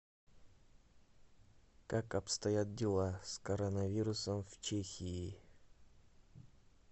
как обстоят дела с коронавирусом в чехии